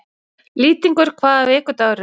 Lýtingur, hvaða vikudagur er í dag?